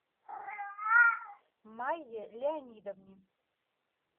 майе леонидовне